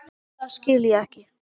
Það skil ég ekki.